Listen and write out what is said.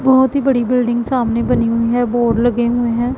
बहोत ही बड़ी बिल्डिंग सामने बनी हुई है बोर्ड लगे हुए हैं।